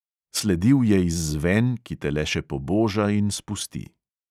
Sledil je izzven, ki te le še poboža in spusti.